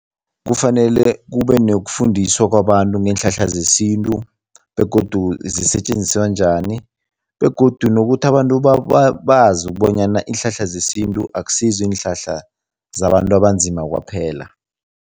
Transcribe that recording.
Kufanele kube nokufundiswa kwabantu ngeenhlahla zesintu begodu zisetjenziswa njani begodu nokuthi abantu bazi ukubonyana iinhlahla zesintu akusizo iinhlahla zabantu abanzima kwaphela.